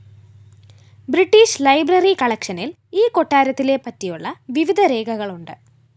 British library കളക്ഷനിൽ ഈ കൊട്ടാരത്തിലെ പറ്റിയുള്ള വിവിധ രേഖകളുണ്ട്